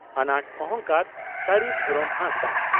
ᱟᱱᱟᱴ ᱚᱦᱚᱝᱠᱟᱨ (ᱥᱟᱹᱨᱤ ᱫᱷᱚᱨᱚᱢ ᱦᱟᱸᱥᱫᱟ)